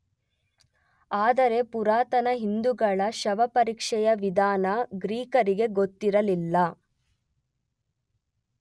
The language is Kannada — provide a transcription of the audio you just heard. ಆದರೆ ಪುರಾತನ ಹಿಂದುಗಳ ಶವಪರೀಕ್ಷೆಯ ವಿಧಾನ ಗ್ರೀಕರಿಗೆ ಗೊತ್ತಿರಲಿಲ್ಲ.